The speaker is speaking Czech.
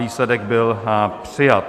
Výsledek byl přijat.